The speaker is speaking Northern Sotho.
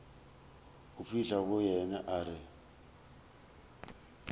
fihla go yena a re